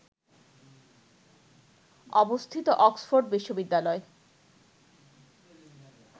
অবস্থিত অক্সফোর্ড বিশ্ববিদ্যালয়